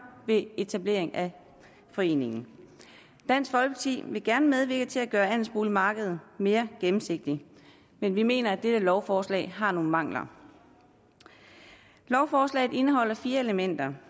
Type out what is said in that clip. ved etablering af foreningen dansk folkeparti vil gerne medvirke til at gøre andelsboligmarkedet mere gennemsigtigt men vi mener at det her lovforslag har nogle mangler lovforslaget indeholder fire elementer